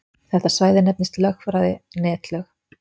Þetta svæði nefnist í lögfræði netlög.